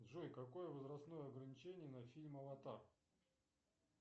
джой какое возрастное ограничение на фильм аватар